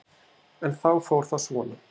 En þá fór það svona.